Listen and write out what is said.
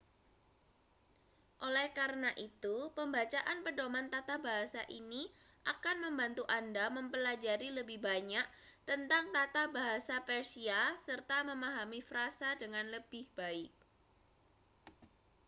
oleh karena itu pembacaan pedoman tata bahasa ini akan membantu anda mempelajari lebih banyak tentang tata bahasa persia serta memahami frasa dengan lebih baik